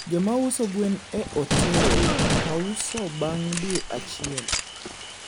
jomauso gwen e hotel hauso bang dwe achiel